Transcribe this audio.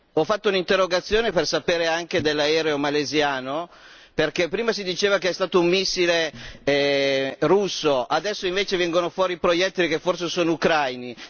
Ho fatto un'interrogazione per sapere anche dell'aereo malese, perché prima si diceva che è stato un missile russo, adesso invece vengono fuori proiettili che forse sono ucraini.